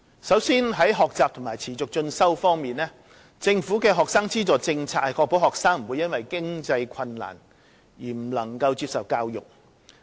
首先是學習和持續進修方面。政府的學生資助政策是確保學生不會因經濟困難而未能接受教育。